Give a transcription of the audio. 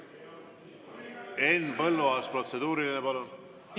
Henn Põlluaas, protseduuriline, palun!